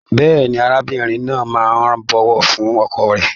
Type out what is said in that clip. Bẹ́ẹ̀ni, arábìnrin náà máa n bọwọ fún ọkọ rẹ.